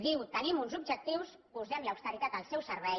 diu tenim uns objectius posem l’austeritat al seu servei